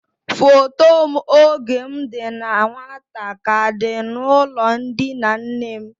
Foto m oge m dị na nwata ka dị n'ulo ndina nnem.